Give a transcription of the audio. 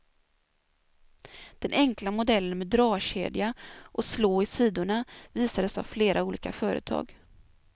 Den enkla modellen med dragkedja och slå i sidorna visades av flera olika företag.